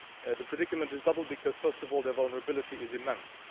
Their predicament is double because first of all their vulnerability is immense.